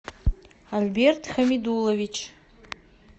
альберт хамидуллович